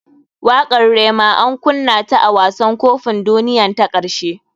Wakatr rema an kunna ta a wasan kopin duniyan ta karshe.